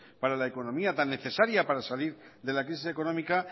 para la economía tan necesaria para salir de la crisis económica